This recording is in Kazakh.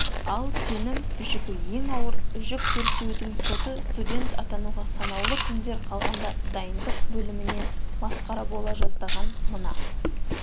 ал сенім жүгі ең ауыр жүктөртеудің соты студент атануға санаулы күндер қалғанда дайындық бөлімінен масқара бола жаздаған мына